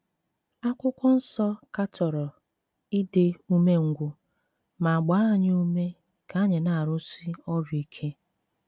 Akwụkwọ Nsọ katọrọ ịdị umengwụ ma gbaa anyị ume ka anyị na - arụsi ọrụ ike.